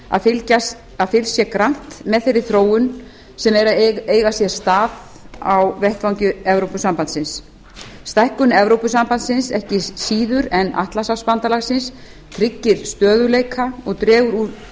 að fylgst sé grannt með þeirri þróun sem er að eiga sér stað á vettvangi evrópusambandsins stækkun evrópusambandsins ekki síður en atlantshafsbandalagsins tryggir stöðugleika og dregur úr